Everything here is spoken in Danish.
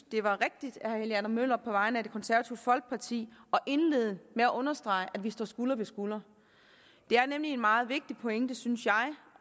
det var rigtigt af herre helge adam møller på vegne af det konservative folkeparti at indlede med at understrege at vi står skulder ved skulder det er nemlig en meget vigtig pointe synes jeg